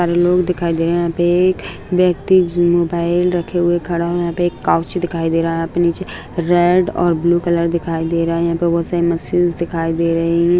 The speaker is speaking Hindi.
यहां पे लोग दिखाई दे रहे हैं यहां पर एक व्यक्ति मोबाइल रखे हुए खड़ा है यहां पर एक कोउचि दिखाई दे रहा है यहां पे नीचे रेड और ब्लू कलर दिखाई दे रहा है यहां पर बहुत सारी मशीन्स दिखाई दे रही है।